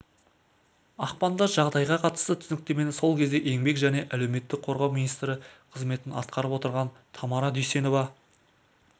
ақпанда жағдайға қатысты түсініктемені сол кезде еңбек және әлеуметтік қорғау министрі қызметін атқарып отырған тамара дүйсенова